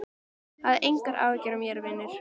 Hafðu engar áhyggjur af mér, vinur!